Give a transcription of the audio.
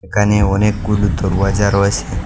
এখানে অনেকগুলো দরওয়াজা রয়েসে ।